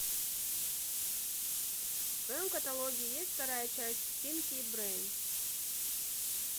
в твоем каталоге есть вторая часть пинки и брейн